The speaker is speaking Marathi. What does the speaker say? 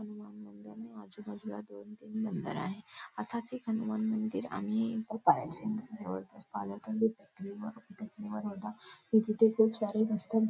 हनुमान मंदिर आणि आजूबाजूला दोन-तीन मंदिर आहे असाच एक हनुमान मंदिर आणि गोपाळ तिथे खूप सारे मस्त--